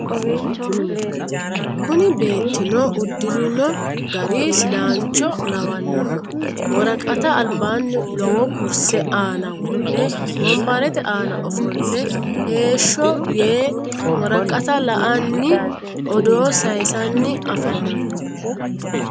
Kunni beettinno udirinno gari sidaancho lawannoho woraqatta alibbanni lowo kurisse aanna wodhe wonbarette aanna offole heeshsho yee woraqatta la'anni odoo sayiisanni afammanno